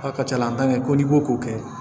A ka ca la an tan kɛ ko n'i ko k'o kɛ